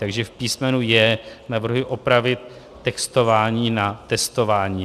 Takže v písmenu j) navrhuji opravit textování na testování.